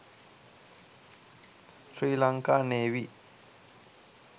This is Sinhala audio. sri lanaka navy